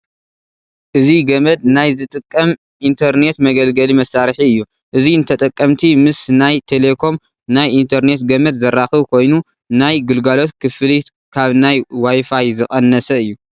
እዚ ገመድ ናይ ዝጥቀም ኢንተርኔት መገልገሊ መሳርሒ እዩ፡፡ እዚ ንተጠቀምቲ ምስ ናይ ቴለኮም ናይ ኢንተርኔት ገመድ ዘራኽብ ኮይኑ ናይ ግልጋሎት ክፍሊት ካብ ናይ ዋይፋይ ዝቐነሰ እዩ፡፡